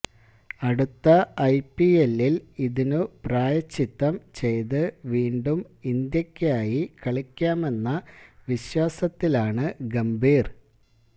അടുത്ത ഐപിഎല്ലില് ഇതിനു പ്രായശ്ചിത്തം ചെയ്ത് വീണ്ടും ഇന്ത്യക്കായി കളിക്കാമെന്ന വിശ്വാസത്തിലാണ് ഗംഭീര്